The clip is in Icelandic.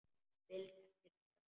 Vildi ekkert sjá.